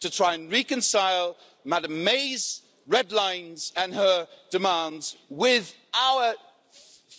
to try and reconcile Mrs May's red lines and her demands with our